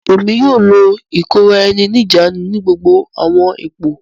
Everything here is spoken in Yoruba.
Èmí yóò lo ikora-ẹni-nijaanu ni gbogbo awọn ipò.